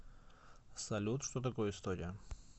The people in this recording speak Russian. салют что такое история